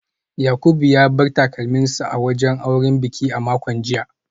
Yakubu ya bar takalminsa a wajen bikin aure a makon jiya